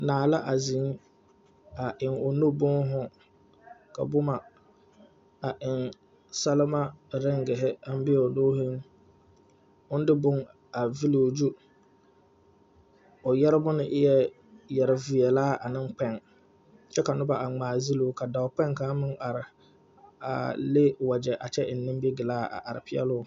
Naa la a zeŋ a eŋ o nuuri boma ka boma a e salma reŋge a be o nuŋ o de boma veli o zu o yɛrema na eɛɛ yɛre veɛlaa ane kpɛŋ kyɛ ka noba are geli o ka dɔɔ kpɛŋ kaŋa meŋ are le wagyɛ kyɛ eŋ nimi galas a are peɛli o.